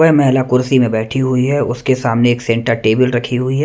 वह महिला कुर्सी में बैठी हुई है उसके सामने एक सेंटर टेबल रखी हुई है।